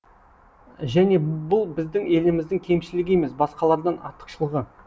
және бұл біздің еліміздің кемшілігі емес басқалардан артықшылығы